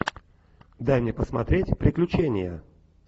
дай мне посмотреть приключения